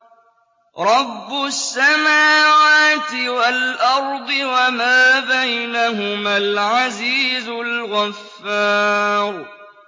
رَبُّ السَّمَاوَاتِ وَالْأَرْضِ وَمَا بَيْنَهُمَا الْعَزِيزُ الْغَفَّارُ